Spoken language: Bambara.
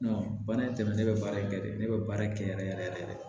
baara in tɛmɛnen bɛ baara in kɛ de ne bɛ baara kɛ yɛrɛ yɛrɛ yɛrɛ de